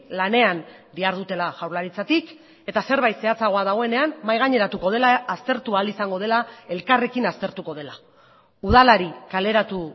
lanean dihardutela jaurlaritzatik eta zerbait zehatzagoa dagoenean mahai gaineratuko dela aztertu ahal izango dela elkarrekin aztertuko dela udalari kaleratu